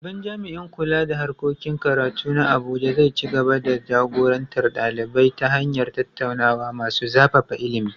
Babban jami’in kula da harkokin karatu na Abuja zai ci gaba da jagorantar ɗalibai ta hanyar tattaunawa masu zafafa ilimi.